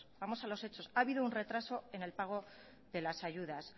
vamos a los hechos ha habido un retraso en el pago de las ayudas